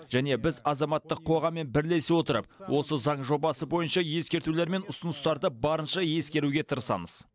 және біз азаматтық қоғаммен бірлесе отырып осы заң жобасы бойынша ескертулер мен ұсыныстарды барынша ескеруге тырысамыз